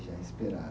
Já esperado.